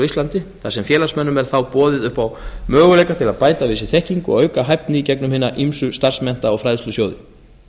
íslandi þar sem félagsmönnum er þá boðið upp á möguleika til að bæta við sig þekkingu og auka hæfni í gegnum hina ýmsu starfsmennta og fræðslusjóði